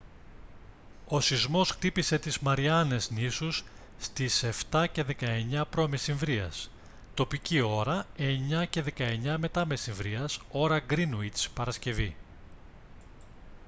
ο σεισμός χτύπησε τις μαριάνες νήσους στις 07:19 π.μ. τοπική ώρα 09:19 μ.μ. ώρα γκρίνουιτς παρασκευή